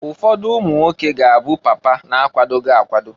Ụfọdụ umunwoke ga-abụ papa na-akwadoghi akwado.